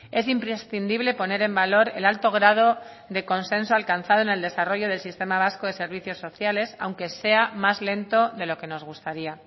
es imprescindible poner en valor el alto grado de consenso alcanzado en el desarrollo del sistema vasco de servicios sociales aunque sea más lento de lo que nos gustaría